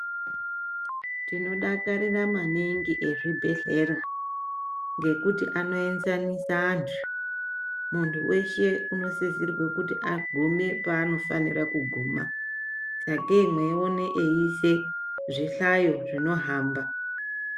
Tinodakarira maningi ezvebhedhlera ngekuti anoezanisa antu. Muntu weshe unosisirwe panofanirwe kuguma, sakei muchiona eiise zvihlayo zvinohamba .